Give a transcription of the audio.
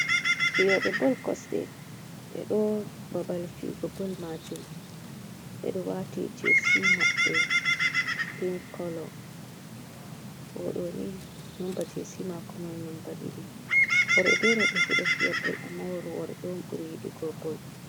Fiyoɓe bol kosɗe. Ɓe ɗo babal fiyugo bol majum. Ɓeɗo wati jesi maɓɓe pin kolo o ɗoni nomba jisi mako mai nomba ɗiɗi. Worɓe be robe fu ɗo fiya bol amma worɓe on ɓuri yidugo bol.